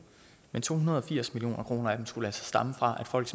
men de to hundrede og firs million kroner af dem skulle altså stamme fra at folk